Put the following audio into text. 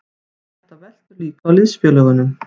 Þetta veltur líka á liðsfélögunum.